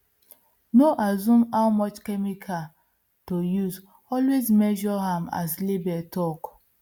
no assume how much chemical to usealways measure am as label talk